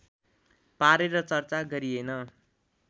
पारेर चर्चा गरिएन